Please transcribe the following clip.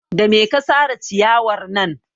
Da me ka sare ciyarwar nan?